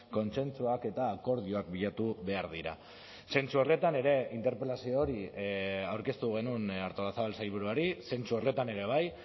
kontsentsuak eta akordioak bilatu behar dira zentzu horretan ere interpelazio hori aurkeztu genuen artolazabal sailburuari zentzu horretan ere bai